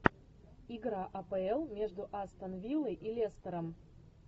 игра апл между астон виллой и лестером